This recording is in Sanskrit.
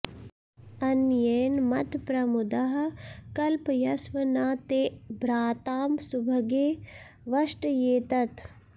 अ॒न्येन॒ मत्प्र॒मुदः॑ कल्पयस्व॒ न ते॒ भ्राता॑ सुभगे वष्ट्ये॒तत्